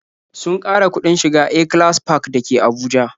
Sun ƙara kuɗin shiga A-class park dake Abuja